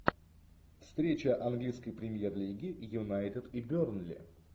встреча английской премьер лиги юнайтед и бернли